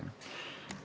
Okei.